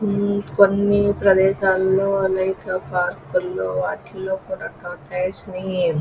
ఈ కొన్ని ప్రదేశలో లేక పార్క్ లో అట్లా తొర్తొయిసే ని --